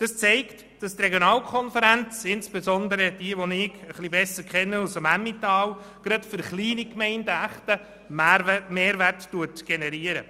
Dies zeigt, dass die Regionalkonferenzen, insbesondere die Regionalkonferenz Emmental, die ich etwas besser kenne, gerade für kleine Gemeinden einen echten Mehrwert generieren.